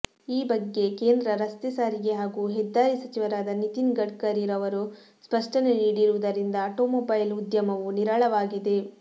ಈ ಬಗ್ಗೆ ಕೇಂದ್ರ ರಸ್ತೆ ಸಾರಿಗೆ ಹಾಗೂ ಹೆದ್ದಾರಿ ಸಚಿವರಾದ ನಿತಿನ್ ಗಡ್ಕರಿರವರು ಸ್ಪಷ್ಟನೆ ನೀಡಿರುವುದರಿಂದ ಆಟೋಮೊಬೈಲ್ ಉದ್ಯಮವು ನಿರಾಳವಾಗಿದೆ